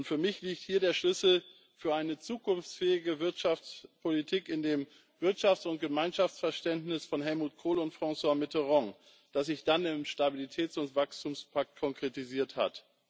Für mich liegt hier der Schlüssel für eine zukunftsfähige Wirtschaftspolitik in dem Wirtschafts und Gemeinschaftsverständnis von Helmut Kohl und François Mitterand, das sich dann im Stabilitäts und Wachstumspakt konkretisiert hat.